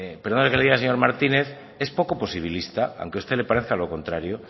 perdona que le diga señor martínez es poco posibilista aunque a usted le parezca lo contrario